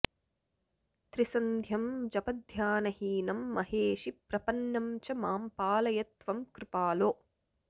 त्रिसन्ध्यं जपध्यानहीनं महेशि प्रपन्नं च मां पालय त्वं कृपालो